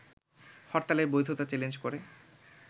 হরতালের বৈধতা চ্যালেঞ্জ করে